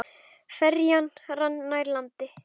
Ferjan rann nær landi.